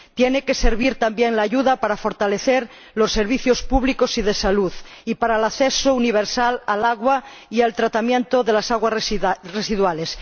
La ayuda tiene que servir, también, para fortalecer los servicios públicos y de salud y para el acceso universal al agua y al tratamiento de las aguas residuales.